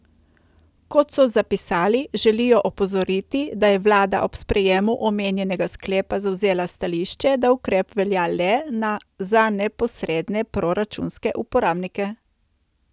Kot so zapisali, želijo opozoriti, da je vlada ob sprejemu omenjenega sklepa zavzela stališče, da ukrep velja le za neposredne proračunske uporabnike.